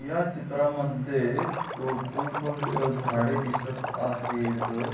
या चित्रामध्ये खूप झाडे दिसत आहेत.